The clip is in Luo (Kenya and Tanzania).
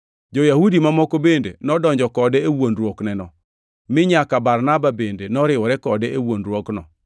Jo-Yahudi mamoko bende nodonjo kode e wuondruokneno, mi nyaka Barnaba bende noriwore kode e wuondruokno.